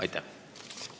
Aitäh!